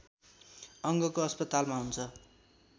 अङ्गको अस्पतालमा हुन्छ